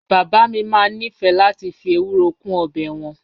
Bàbá mi máa ń nífẹ̀ẹ́ láti fi ewuro kún ọbẹ̀ wọn